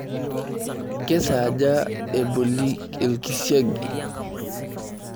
Kesaaja eboli orkisiagi?